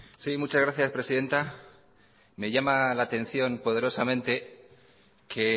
sí muchas gracias presidenta me llama la atención poderosamente que